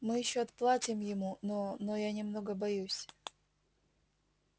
мы ещё отплатим ему но но я немного боюсь